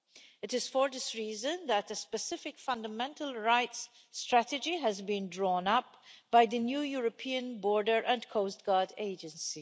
It is for this reason that a specific Fundamental Rights Strategy has been drawn up by the new European Border and Coast Guard Agency.